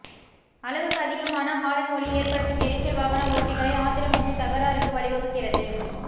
அளவுக்கு அதிகமான ஹாரன் ஒலி ஏற்படுத்தும் எரிச்சல் வாகன ஓட்டிகளை ஆத்திரமூட்டி தகராறுக்கு வழிவகுக்கிறது